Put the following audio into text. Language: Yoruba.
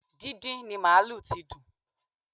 Díndín ni màlúù tí dùn